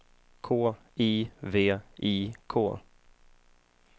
K I V I K